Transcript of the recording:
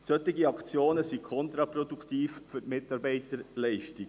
Solche Aktionen sind kontraproduktiv für die Mitarbeiterleistung.